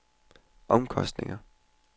omkostninger